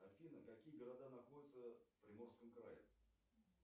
афина какие города находятся в приморском крае